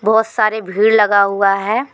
बहोत सारे भीड़ लगा हुआ है।